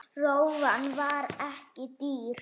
Rófan var ekki dýr.